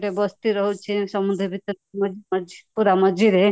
ଗୋଟେ ବସ୍ତି ରହୁଛି ସମୁଦ୍ର ଭିତରେ ପୁରା ମଝି ପୁରା ମଝିରେ